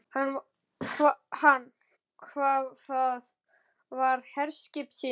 Hann kvað það vera herskip sín.